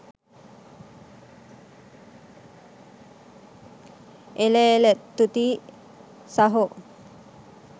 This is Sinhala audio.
එල එල තුති සහෝ